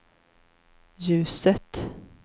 ljuset